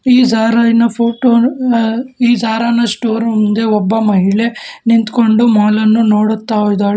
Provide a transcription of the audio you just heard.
ಈ ಜಾರವಿನ ಫೋಟೋವನ್ನು ಈ ಜಾರನ ಸ್ಟೋರೂಮ್ ಮುಂದೆ ಒಬ್ಬ ಮಹಿಳೆ ನಿಂತ್ಕೊಂಡು ಮಾಲನ್ನ ನೋಡುತ್ತಿದ್ದಾಳೆ.